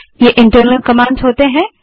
ये internal commands होती हैं